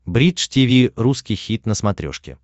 бридж тиви русский хит на смотрешке